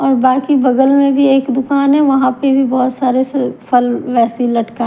और बाकि बगल में भी एक दुकान है वहां पर भी बहुत सारेसे फल वैसेह लटकाय --